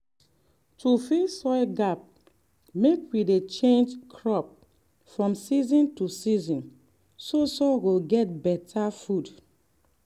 make we reduce hoe work for ground mek soil natural life go dey intact.